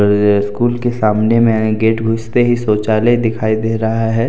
ये स्कूल के सामने में गेट घुसते ही शौचालय दिखाई दे रहा है ।